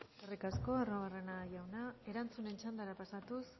eskerrik askok arruabarrena jauna erantzunen txandara pasatuz